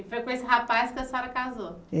E foi com esse rapaz que a senhora casou?